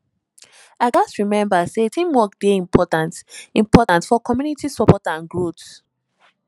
i gats remember say teamwork dey important important for community support and growth